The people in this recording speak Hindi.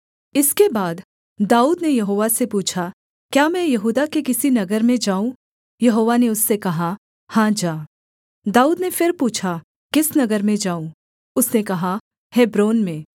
इसके बाद दाऊद ने यहोवा से पूछा क्या मैं यहूदा के किसी नगर में जाऊँ यहोवा ने उससे कहा हाँ जा दाऊद ने फिर पूछा किस नगर में जाऊँ उसने कहा हेब्रोन में